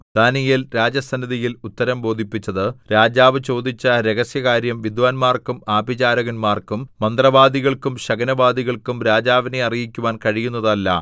ദാനീയേൽ രാജസന്നിധിയിൽ ഉത്തരം ബോധിപ്പിച്ചത് രാജാവു ചോദിച്ച രഹസ്യകാര്യം വിദ്വാന്മാർക്കും ആഭിചാരകന്മാർക്കും മന്ത്രവാദികൾക്കും ശകുനവാദികൾക്കും രാജാവിനെ അറിയിക്കുവാൻ കഴിയുന്നതല്ല